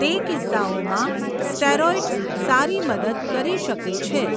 તે કિસ્સાઓમાં સ્ટેરોઇડ્સ સારી મદદ કરી શકે છે.